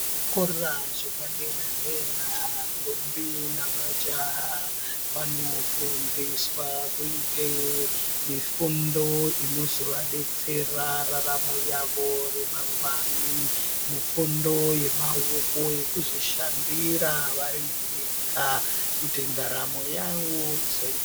Zvikora zvepadera dera ntombi nemajaha vanofundiswa kuite mifundo inozovadetsera raramo yavo remangwani mufundo yemaoko yekuzvishandira vari vega kuti ndaramo yavo izoi